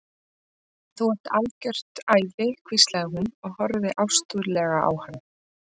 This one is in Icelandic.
Þú ert algjört æði hvíslaði hún og horfði ástúðlega á hann.